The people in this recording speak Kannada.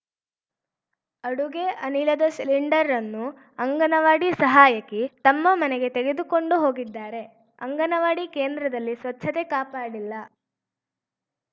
ಅಡುಗೆ ಅನಿಲದ ಸಿಲಿಂಡರ್‌ನ್ನು ಅಂಗನವಾಡಿ ಸಹಾಯಕಿ ತಮ್ಮ ಮನೆಗೆ ತೆಗೆದುಕೊಂಡು ಹೋಗಿದ್ದಾರೆ ಅಂಗನವಾಡಿ ಕೇಂದ್ರದಲ್ಲಿ ಸ್ವಚ್ಛತೆ ಕಾಪಾಡಿಲ್ಲ